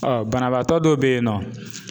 banabaatɔ dɔw bɛ yen nɔ